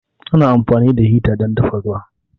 Ana amfani da hita dan dafa ruwa